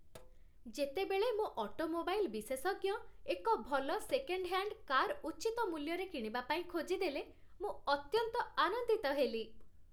ଯେତେବେଳେ ମୋ ଅଟୋମୋବାଇଲ୍ ବିଶେଷଜ୍ଞ ଏକ ଭଲ ଫ୍ରିଜ୍‌ରୁ କାର୍ ଉଚିତ ମୂଲ୍ୟରେ କିଣିବା ପାଇଁ ଖୋଜିଦେଲେ, ମୁଁ ଅତ୍ୟନ୍ତ ଆନନ୍ଦିତ ହେଲି।